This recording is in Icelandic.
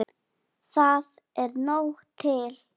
Það er nóg til.